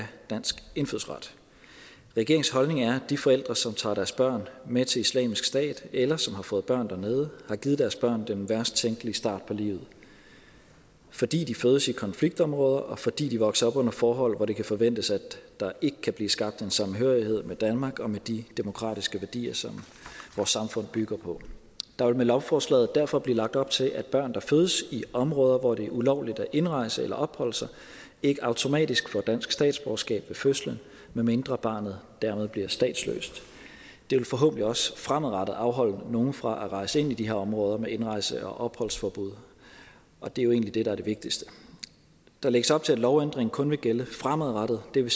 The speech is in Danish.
dansk indfødsret regeringens holdning er at de forældre som tager deres børn med til islamisk stat eller som har fået børn dernede har givet deres børn den værst tænkelige start på livet fordi de fødes i konfliktområder og fordi de vokser op under forhold hvor det kan forventes at der ikke kan blive skabt en samhørighed med danmark og med de demokratiske værdier som vores samfund bygger på der vil med lovforslaget derfor blive lagt op til at børn der fødes i områder hvor det er ulovligt at indrejse til eller opholde sig ikke automatisk får dansk statsborgerskab ved fødslen medmindre barnet dermed bliver statsløst det vil forhåbentlig også fremadrettet afholde nogle fra at rejse ind i de her områder med indrejse og opholdsforbud og det er jo egentlig det der er det vigtigste der lægges op til at lovændringen kun vil gælde fremadrettet og det vil